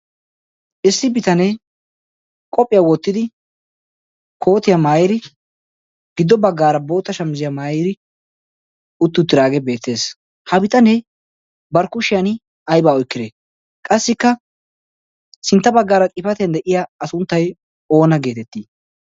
issi bitanee qophphiyaa wottidi kootiyaa maayid giddo baggaara bootta shamaziyaa maayidi utti uttidagee beettees. Ha bitanee barkkushiyan aybaa oyqde? Qassikka sintta baggaara xifatiyan de'iya sunttay oona geetettii?